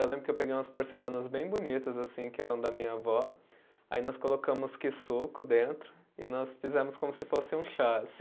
Eu lembro que eu peguei umas porcelanas bem bonitas assim, que eram da minha avó, aí nós colocamos Kisuko dentro e nós fizemos como se fosse um chá.